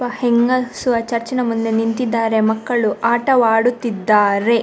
ಒಬ್ಬ ಹೆಂಗಸು ಆ ಚರ್ಚಿನ ಮುಂದೆ ನಿಂತಿದ್ದಾರೆ ಮಕ್ಕಳು ಆಟವಾಡುತ್ತಿದ್ದಾರೆ.